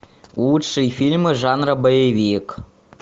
лучшие фильмы жанра боевик